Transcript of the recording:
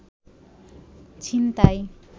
ছিনতাই